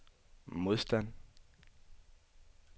modstand